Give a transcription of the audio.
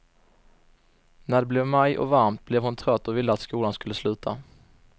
När det blev maj och varmt, blev hon trött och ville att skolan skulle sluta.